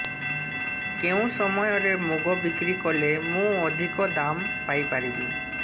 କେଉଁ ସମୟରେ ମୁଗ ବିକ୍ରି କଲେ ମୁଁ ଅଧିକ ଦାମ୍ ପାଇ ପାରିବି